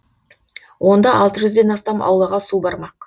онда алты жүзден астам аулаға су бармақ